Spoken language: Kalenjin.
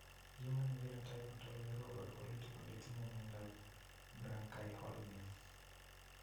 Human Phenotype Ontology koporu wolutik kole itinye Miondap Brachyolmia.